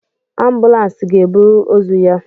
Ambulans ga-eburu ozu ya